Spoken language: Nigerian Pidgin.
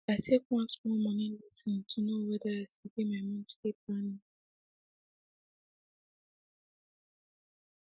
i take one small moni lesson to know wether i sabi my monthly planning